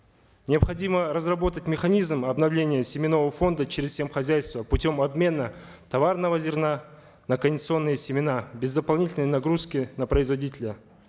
необходимо разработать механизм обновления семенного фонда через сем хозяйства путем обмена товарного зерна на кондиционные семена без дополнительной нагрузки на производителя